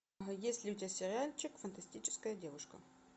есть ли у тебя сериальчик фантастическая девушка